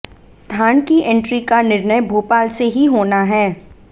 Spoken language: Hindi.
धान की एंट्री का निर्णय भोपाल से ही होना है